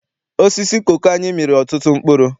Osisi koko anyị mịrị ọtụtụ mkpụrụ.